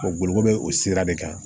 O boloko bɛ o sira de kan